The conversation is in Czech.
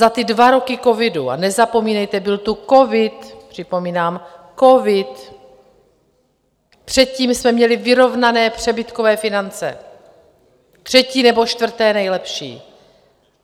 Za ty dva roky covidu, a nezapomínejte, byl tu covid, připomínám, covid! - předtím jsme měli vyrovnané přebytkové finance, třetí nebo čtvrté nejlepší.